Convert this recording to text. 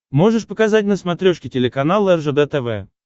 можешь показать на смотрешке телеканал ржд тв